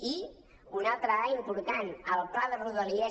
i una altra dada important el pla de rodalies